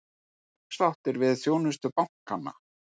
Ósáttir við þjónustu bankanna